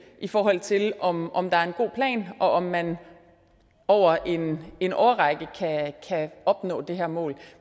i forhold til om om det er en god plan og om man over en en årrække kan opnå det her mål